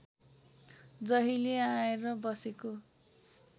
जहिले आएर बसेको